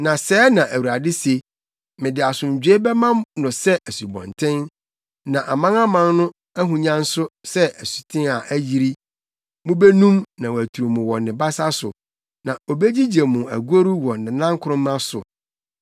Na sɛɛ na Awurade se: “Mede asomdwoe bɛma no sɛ asubɔnten, ne amanaman no ahonya nso sɛ asuten a ayiri. Mubenum na waturu mo wɔ ne basa so na obegyigye mo agoru wɔ nʼanankoroma so.